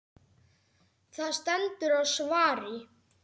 Það stendur á svari.